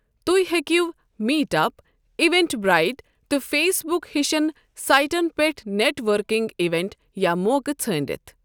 تُہۍ ہیكِیو meetup, Eventbrite تہٕ فیس بک ہٕشن سایٹن پیٹھ نیٹ وركِنگ اِوینٹ یا موقعہٕ ژھٲنڈتھ۔